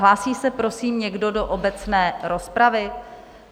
Hlásí se prosím někdo do obecné rozpravy?